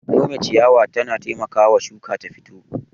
Nome ciyawa yana taimakawa shuka ta fito.